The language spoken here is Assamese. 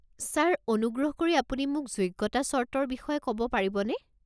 ছাৰ, অনুগ্ৰহ কৰি আপুনি মোক যোগ্যতা চৰ্তৰ বিষয়ে ক'ব পাৰিবনে?